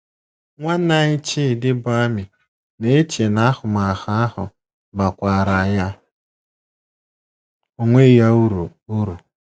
Nwanne nwanyị Chidi, bụ́ Amy, na - eche na ahụmahụ ahụ bakwaara ya onwe ya uru uru.